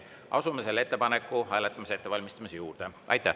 Asume selle ettepaneku hääletamise ettevalmistamise juurde.